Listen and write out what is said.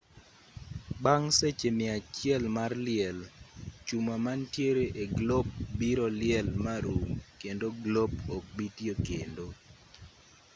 bang' seche mia achiel mar liel chuma mantiere e glop biro liel marum kendo glop ok bi tiyo kendo